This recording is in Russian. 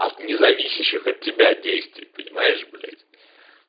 от независящих от тебя действий понимаешь блять